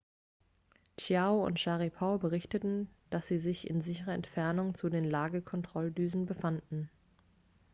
chiao und scharipow berichteten dass sie sich in sicherer entfernung zu den lagekontrolldüsen befanden